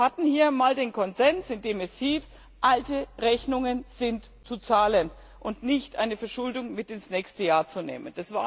Wir hatten hier einmal den Konsens, in dem es hieß Alte Rechnungen sind zu zahlen und nicht eine Verschuldung mit ins nächste Jahr zu nehmen.